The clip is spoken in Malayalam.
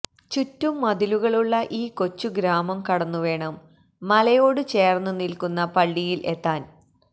ചുറ്റും മതിലുകളുള്ള ഈ കൊച്ചു ഗ്രാമം കടന്നു വേണം മലയോട് ചേര്ന്ന് നില്ക്കുന്ന പള്ളിയില് എത്താന്